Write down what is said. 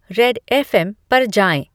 Red F. M. पर जाएं